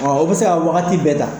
Ɔ o bɛ se ka waagati bɛɛ ta.